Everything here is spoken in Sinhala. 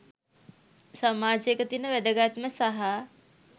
සමාජයක තියෙන වැදගත්ම සහ